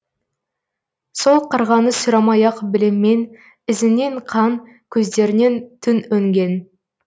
сол қарғаны сұрамай ақ білем мен ізінен қан көздерінен түн өнген